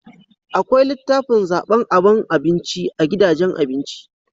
Akwai litafin zaban aban abinci a gidajen abinci